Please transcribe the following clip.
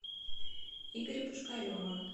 игоря пушкарева